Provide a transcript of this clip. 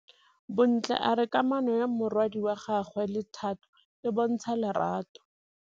Bontle a re kamanô ya morwadi wa gagwe le Thato e bontsha lerato.